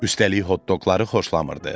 Üstəlik hot-doqları xoşlamırdı.